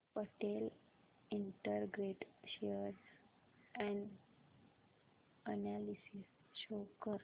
Patel integrate share analysis show कर